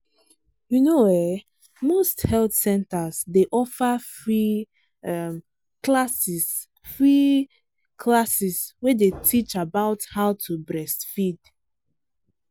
you know ehnmost health centers day offer free um classes free um classes way day teach about how to breastfeed.